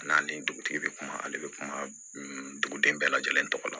A n'ale dugutigi bɛ kuma ale bɛ kuma duguden bɛɛ lajɛlen tɔgɔ la